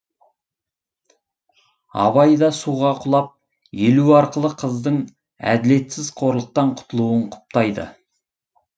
абай да суға құлап елу арқылы қыздың әділетсіз қорлықтан құтылуын құптайды